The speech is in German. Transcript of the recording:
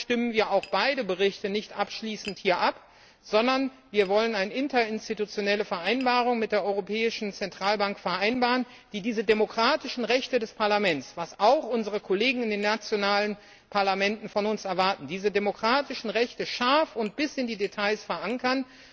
Deshalb stimmen wir auch beide Berichte nicht abschließend hier ab, sondern wir wollen eine interinstitutionelle Vereinbarung mit der Europäischen Zentralbank vereinbaren, die diese demokratischen Rechte des Parlaments was auch unsere Kollegen in den nationalen Parlamenten von uns erwarten scharf und bis in die Details verankern.